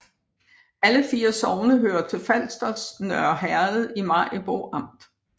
Alle 4 sogne hørte til Falsters Nørre Herred i Maribo Amt